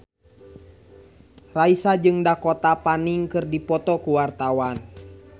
Raisa jeung Dakota Fanning keur dipoto ku wartawan